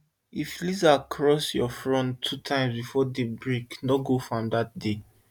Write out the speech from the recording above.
if lizard cross your front two times before day break no go farm that day